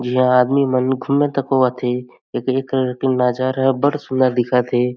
यहाँ आदमी मन घुमत होवत हे एकरे करन नजर बड़ सुंदर दिखत हे।